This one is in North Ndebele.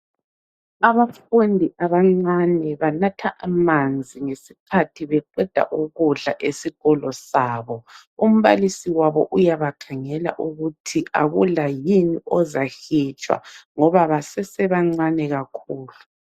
Abafundi abancane banatha amanzi ngesikhathi beqeda ukudla esikolo sabo. Umbalisi wabo uyabakhangela ukuthi akula yini ozahitshwa ngoba basesebancane kakhulu.